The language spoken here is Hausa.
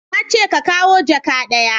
Na ce ka kawo jaka ɗaya